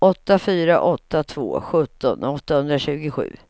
åtta fyra åtta två sjutton åttahundratjugosju